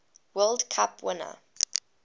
world cup winning